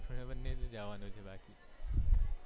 આપણા બંને ને જાવાનું છે બાકી